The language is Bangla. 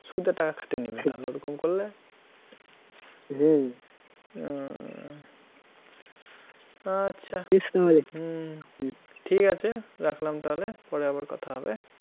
সুদে টাকা খাটিয়ে নেবে ওরকম করলে হম ও, আচ্ছা, বেশ তাহলে হম ঠিক আছে রাখলাম তাহলে, পরে আবার কথা হবে